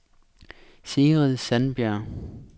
Sigrid Sandberg